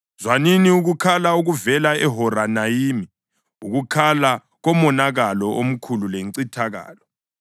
Zwanini ukukhala okuvela eHoronayimi; ukukhala komonakalo omkhulu lencithakalo.